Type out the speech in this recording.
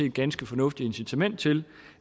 et ganske fornuftigt incitament til